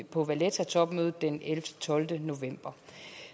på vallettatopmødet den tolvte november